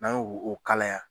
N'an yo o kalaya.